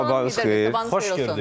Sabahınız xeyir olsun.